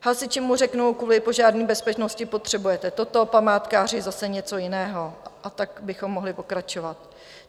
Hasiči mu řeknou, kvůli požární bezpečnosti potřebujete toto, památkáři zase něco jiného, a tak bychom mohli pokračovat.